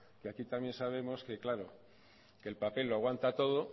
que aquí también sabemos que el papel lo aguanta todo